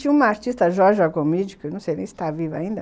Tinha uma artista, a Jorge Agomídio, que não sei nem se está viva ainda.